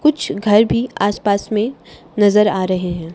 कुछ घर भीं आस पास में नजर आ रहें हैं।